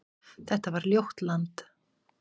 Þetta var ljótt land.